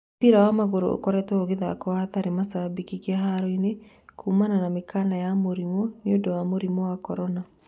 Mũbĩra wa magũrũ ũkoretwo ũgathakwo hatarĩ macambĩki kĩharo-inĩ kuuma mĩkana ya mũrimũ nĩũndũ wa mũrimũ wa korona.